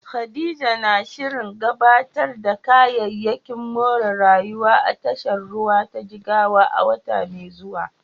Khadija na shirin gabatar da kayayyakin more rayuwa a tashar ruwa ta Jigawa a wata mai zuwa.